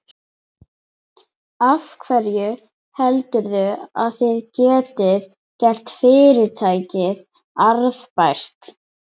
Af hverju heldurðu að þið getið gert fyrirtækið arðbært?